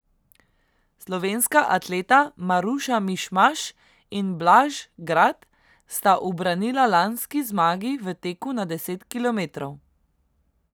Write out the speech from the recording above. Slovenska atleta Maruša Mišmaš in Blaž Grad sta ubranila lanski zmagi v teku na deset kilometrov.